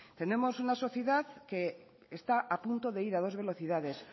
tenemos una sociedad que está a punto de ir a dos velocidades